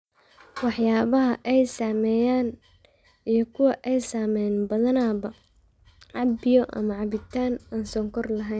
Waxyaabaha ay sameeyaan iyo kuwa aan samaynin Badanaaba cab biyo ama cabitaan aan sonkor lahayn.